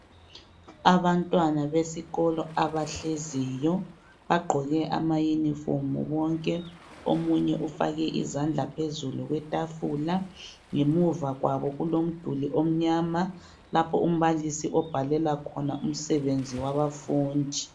Abantwana besikolo abahleziyo. Bagqoke ama uniform bonke. Omunye ufake izandla phezulu kwetafula. Ngemuva kwabo, kulomduli omnyama, lapho umbalisi obhalela khona umsebenzi wabafundi.